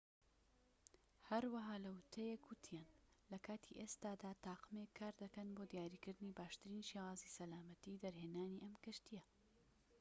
هەروەها لە ووتەیەک وتیان لە کاتی ئێستادا تاقمێک کار دەکەن بۆ دیاریکردنی باشترین شێوازی سەلامەتی دەرهێنانی ئەم کەشتیە